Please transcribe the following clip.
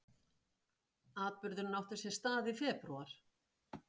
Atburðurinn átti sér stað í febrúar